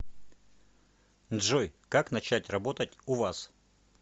джой как начать работать у вас